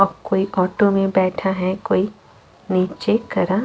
और कोई ऑटो में बैठा है कोई निचे खड़ा--